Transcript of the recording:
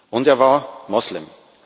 Und er war Moslem.